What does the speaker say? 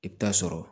I bɛ taa sɔrɔ